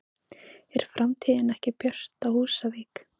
Er framtíðin ekki björt á Húsavík?